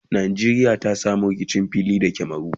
Nqjeriya ta samu rikicin fili da camaru?